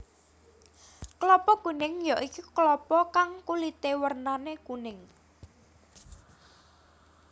Klapa kuning ya iku klapa kang kulité wernané kuning